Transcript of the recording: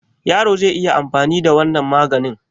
Yaro zai iya anfani da wannan maganin?